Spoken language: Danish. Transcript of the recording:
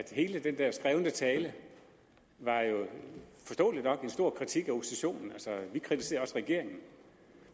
hele den der skrevne tale var jo forståeligt nok en stor kritik af oppositionen altså vi kritiserer også regeringen